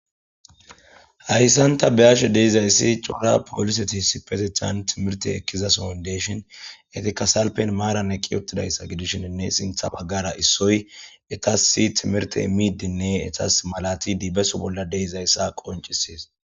hayssan ta be7ashe de7izayssi cora poliseti issipetethan timirte ekkizasohon de7ishin etika salpen maaran eqqi uttidayssa gidishini sintha baggara issoy etasi timirte imiddinne etas malatidi beso bolla de7izayssa qoncisees